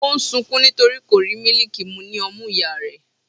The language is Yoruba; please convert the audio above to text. o n sunkún nítorí kò rí mílìkì mu ní ọmú ìyá rẹ̀.